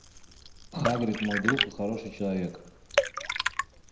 хагрид мой друг и хороший человек